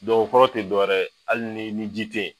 Dɔw o kɔrɔ te dɔwɛrɛ ye ali ni ni ji te ye